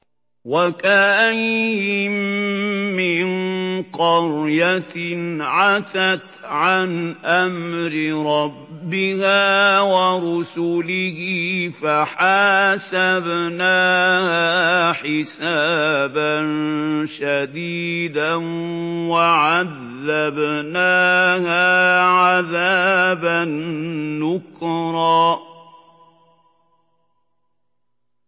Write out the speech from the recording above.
وَكَأَيِّن مِّن قَرْيَةٍ عَتَتْ عَنْ أَمْرِ رَبِّهَا وَرُسُلِهِ فَحَاسَبْنَاهَا حِسَابًا شَدِيدًا وَعَذَّبْنَاهَا عَذَابًا نُّكْرًا